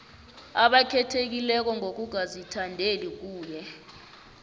abakhethekileko ngokungazithandeli kuye